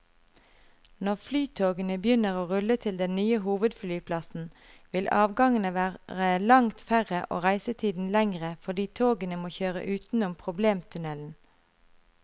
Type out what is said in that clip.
Når flytogene begynner å rulle til den nye hovedflyplassen, vil avgangene var langt færre og reisetiden lengre fordi togene må kjøre utenom problemtunnelen.